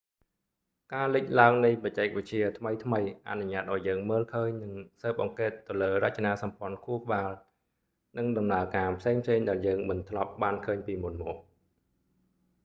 ការលិចឡើងនៃបច្ចេកវិទ្យាថ្មីៗអនុញ្ញាតឱ្យយើងមើលឃើញ និងស៊ើបអង្កេតទៅលើរចនាសម្ព័ន្ធខួរក្បាល និងដំណើរការផ្សេងៗដែលយើងមិនធ្លាប់បានឃើញពីមុនមក